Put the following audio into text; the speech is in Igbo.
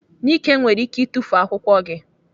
Nike nwere ike itufu akwụkwọ gị.